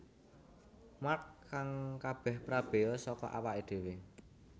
Mark kang kabeh prabeya saka awaké dhéwé